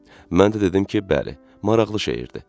Mən də dedim ki, bəli, maraqlı şeirdi.